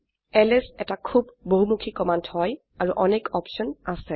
LS এটি খুব বহমুখি কমান্ড হয় আৰু অনেক অপছন আছে